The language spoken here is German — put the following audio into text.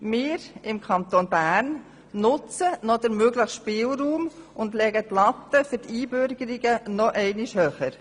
Wir im Kanton Bern nutzen den möglichen Spielraum und legen die Latte für die Einbürgerung noch höher.